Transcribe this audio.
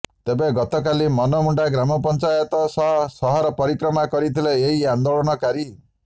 ତେବେ ଗତ କାଲି ମନମୁଣ୍ଡା ଗ୍ରାମପଞ୍ଚାୟତ ସହ ସହର ପରିକ୍ରମା କରିଥିଲେ ଏହି ଆନ୍ଦୋଳନକାରୀ